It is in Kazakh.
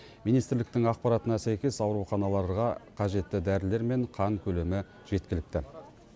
министрліктің ақпаратына сәйкес ауруханаларға қажетті дәрілер мен қан көлемі жеткілікті